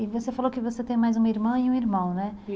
E você falou que você tem mais uma irmã e um irmão, né?